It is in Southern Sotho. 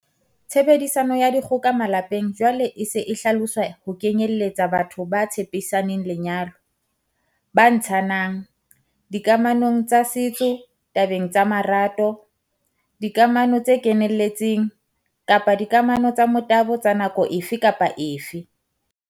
Tshebediso ya dikgoka malepeng jwale e se e hlaloswa ho kenyelletsa batho ba tshepisaneng lenyalo, ba ntshananng, dikamanong tsa setso tabeng tsa marato, dikamano tse kenelletseng, kapa dikamanong tsa motabo tsa nako efe kapa efe.